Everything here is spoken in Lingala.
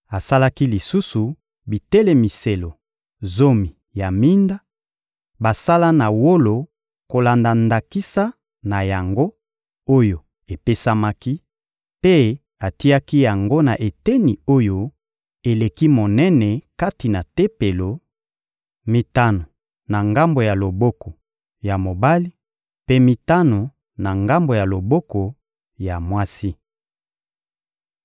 Asalaki lisusu bitelemiselo zomi ya minda, basala na wolo kolanda ndakisa na yango oyo epesamaki; mpe atiaki yango na eteni oyo eleki monene kati na Tempelo: mitano na ngambo ya loboko ya mobali, mpe mitano na ngambo ya loboko ya mwasi.